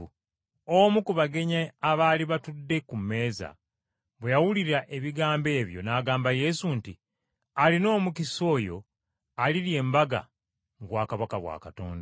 Omu ku bagenyi abaali batudde ku mmeeza bwe yawulira ebigambo ebyo n’agamba Yesu nti, “Alina omukisa oyo alirya embaga mu bwakabaka bwa Katonda.”